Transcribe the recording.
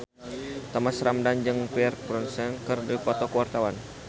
Thomas Ramdhan jeung Pierce Brosnan keur dipoto ku wartawan